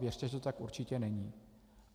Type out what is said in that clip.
Věřte, že tomu tak určitě není.